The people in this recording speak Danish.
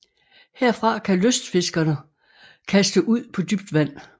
Herfra kan lystfiskere kaste ud på dybt vand